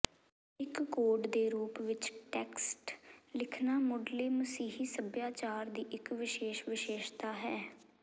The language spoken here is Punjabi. ਇੱਕ ਕੋਡ ਦੇ ਰੂਪ ਵਿੱਚ ਟੈਕਸਟ ਲਿਖਣਾ ਮੁਢਲੇ ਮਸੀਹੀ ਸੱਭਿਆਚਾਰ ਦੀ ਇੱਕ ਵਿਸ਼ੇਸ਼ ਵਿਸ਼ੇਸ਼ਤਾ ਹੈ